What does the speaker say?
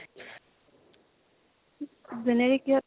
কিহত